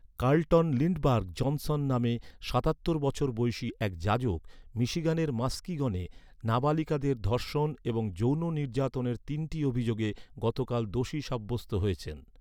Carlton Lindberg Johnson নামে সাতাত্তর বছর বয়সি এক যাজক, মিশিগানের মাস্কিগনে নাবালিকাদের ধর্ষণ এবং যৌন নির্যাতনের তিনটি অভিযোগে গতকাল দোষী সাব্যস্ত হয়েছেন।